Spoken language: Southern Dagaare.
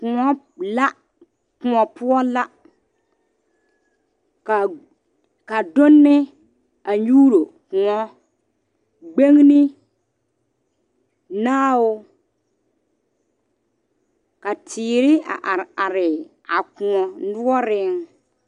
Kõɔ la kõɔ poɔ la ka ka donne kyuulo kõɔ gbenne ,naao ka teere a are are a kõɔ noɔre.